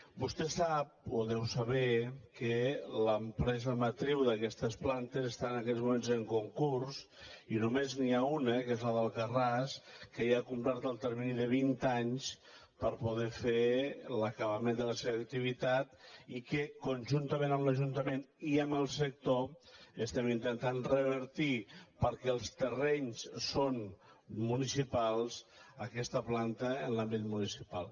vostès sap o deu saber que l’empesa matriu d’aquestes plantes està en aquests moments en concurs i només n’hi ha una que és la d’alcarràs que ja ha complert el termini de vint anys per a poder fer l’acabament de la seva activitat que conjuntament amb l’ajuntament i amb el sector estem intentant revertir perquè els terrenys són municipals aquesta planta en l’àmbit municipal